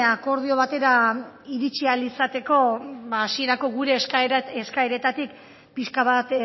akordio batera iritsi ahal izateko ba hasierako gure eskaeretatik pixka bat